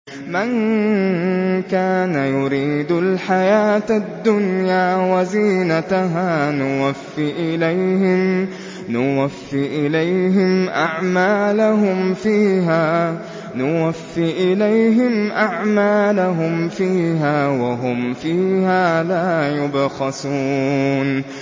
مَن كَانَ يُرِيدُ الْحَيَاةَ الدُّنْيَا وَزِينَتَهَا نُوَفِّ إِلَيْهِمْ أَعْمَالَهُمْ فِيهَا وَهُمْ فِيهَا لَا يُبْخَسُونَ